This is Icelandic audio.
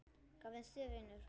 Hvað finnst þér, vinur?